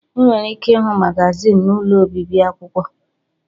Ị nwere ike ịhụ magazin n'ụlọ obibi akwụkwọ.